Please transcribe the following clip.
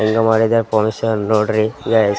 ಹೆಂಗ ಮಾಡಿದರ್ ಪೊಲೀಸ್ರನ್ ನೋಡ್ರಿ ಗಾಯ್ಸ್ .